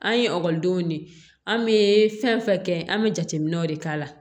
An ye ekɔlidenw de ye an bɛ fɛn fɛn kɛ an bɛ jateminɛw de k'a la